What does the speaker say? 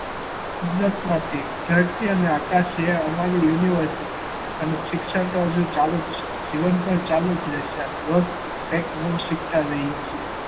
અભ્યાસ માટે ધરતી અને આકાશ એ અમારી યુનિવર્સિટી. અને શિક્ષણ તો હજુ ચાલુ જ છે. જીવન પર ચાલુ જ રહેશે અને કંઈક નવું શીખતા જ રહીએ છીએ.